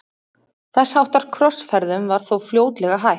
Þess háttar krossferðum var þó fljótlega hætt.